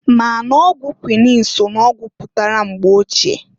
Ma n'ọgwụ kwuinin so n'ọgwụ pụtara mgbe ochie.